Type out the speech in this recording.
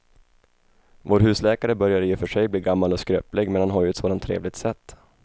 Vår husläkare börjar i och för sig bli gammal och skröplig, men han har ju ett sådant trevligt sätt!